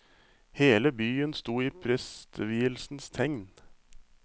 Hele byen sto i prestevielsens tegn.